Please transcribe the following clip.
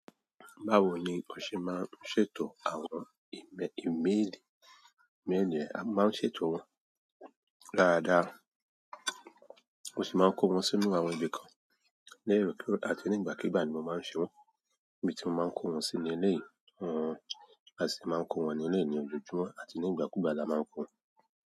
Báwo ni o ṣe máa ń ṣètò àwọn íme-ímélì méèlèè, a máa ń ṣètò wọn dáadáa. O sì máa ń kó wọn sínú àwọn ibi lerokero àti nígbàkígbà ní mo máa ń ṣe wọ́n. Ibi tí mo máa ń kó wọn sí ni léèyì wọn, a sì máa ń kó wọn ní léèyì olùjúmọ̀ àti ní ìgbàkúùgbà la máa ń kó wọn.